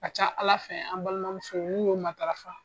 Ka ca Ala fɛ an balimamusow n'u y'o matarafa